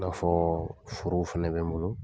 I n'a fɔ forow fana bɛ n bolo.